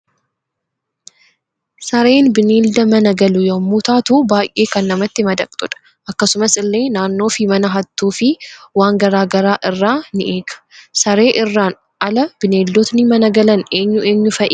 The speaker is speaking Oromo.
Sareen bineelda mana galu yommuu taatu baay'ee kan namatti madaqxudha akkasumas illee naannoo fi mana hattuu fii waan garaa garaa irraa nii eega. saree irraan ala bineeldotni mana galan eenyu eenyu fa'i?